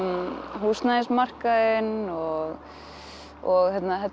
húsnæðismarkaðinn og og